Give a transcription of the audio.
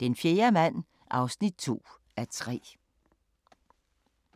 Den fjerde mand (2:3)*